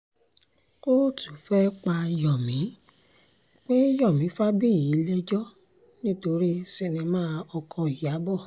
kóòtù fẹ́ẹ́ pe yomi pe yomi fabayì lẹ́jọ́ nítorí sinimá ọkọ̀ ìyàbọ̀